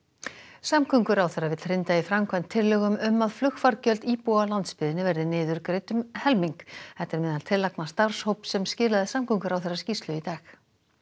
samgönguráðherra vill hrinda í framkvæmd tillögum um að flugfargjöld íbúa á landsbyggðinni verði niðurgreidd um helming þetta er meðal tillagna starfshóps sem skilaði samgönguráðherra skýrslu í dag